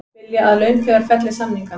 Vilja að launþegar felli samningana